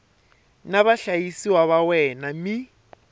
na vahlayisiwa va wena mi